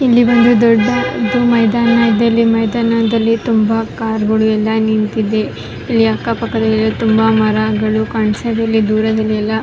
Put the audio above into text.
ಇಲ್ಲಿ ಒಂದು ದೊಡ್ಡ ಮೈದಾನ ಇದೆ ಮೈದಾನದಲ್ಲಿ ತುಂಬಾ ಕಾರ್ಗ ಳು ಎಲ್ಲ ನಿಂತಿದೆ ಇಲ್ಲಿ ಅಕ್ಕ ಪಕ್ಕದಲ್ಲಿ ತುಂಬಾ ಮರಗಳು ಕಾಣಿಸದೆ ಇಲ್ಲಿ ದೂರದಲ್ಲಿ ಎಲ್ಲ --